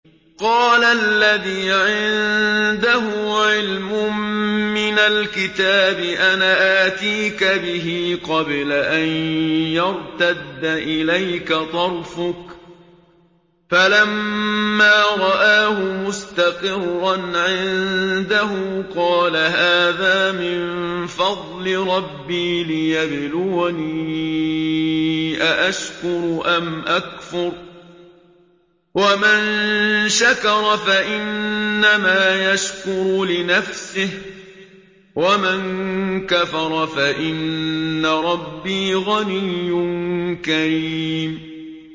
قَالَ الَّذِي عِندَهُ عِلْمٌ مِّنَ الْكِتَابِ أَنَا آتِيكَ بِهِ قَبْلَ أَن يَرْتَدَّ إِلَيْكَ طَرْفُكَ ۚ فَلَمَّا رَآهُ مُسْتَقِرًّا عِندَهُ قَالَ هَٰذَا مِن فَضْلِ رَبِّي لِيَبْلُوَنِي أَأَشْكُرُ أَمْ أَكْفُرُ ۖ وَمَن شَكَرَ فَإِنَّمَا يَشْكُرُ لِنَفْسِهِ ۖ وَمَن كَفَرَ فَإِنَّ رَبِّي غَنِيٌّ كَرِيمٌ